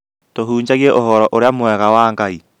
tũhunjagĩe ũhoro ũrĩa mwega wa Ngaĩ